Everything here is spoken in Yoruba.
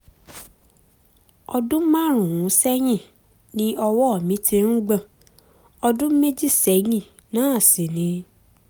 ọdún márùn-ún sẹ́yìn ni ọwọ́ mi ti ń gbọ̀n ọdún méjì sẹ́yìn náà sì ni